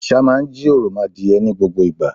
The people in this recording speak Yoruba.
Àṣà máa ń jí òròmọadìẹ ní gbogbo ìgbà.